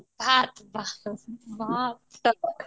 ହଁ, ତାକୁ